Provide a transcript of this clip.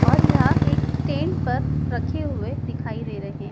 और यह एक स्टैंड पर रखे हुए दिखाई दे रहे--